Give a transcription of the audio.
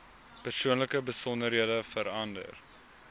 persoonlike besonderhede verander